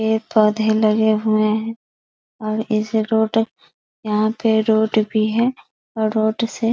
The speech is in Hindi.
पेड़-पौधे लगे हुए हैं और इस रोड यहाँ पे रोड भी है | रोड से --